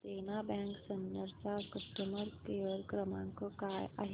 देना bank Sinnar चा customer care क्रमांक काय आहे